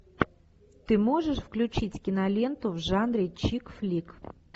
ты можешь включить киноленту в жанре чик флик